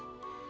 rast gəlmədi.